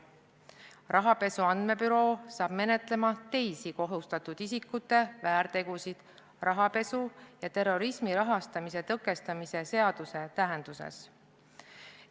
Rahapesu andmebüroo hakkab menetlema teisi kohustatud isikute väärtegusid rahapesu ja terrorismi rahastamise tõkestamise seaduse tähenduses.